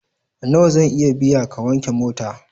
Nawa zan iya biya ka wanke mota?